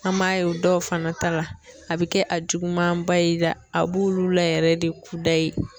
An m'a ye o dɔw fana ta la a bɛ kɛ a juguman ba ye i la, a b'olu la yɛrɛ de k'u da yi.